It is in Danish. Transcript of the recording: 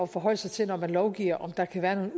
forholde sig til når man lovgiver om der kan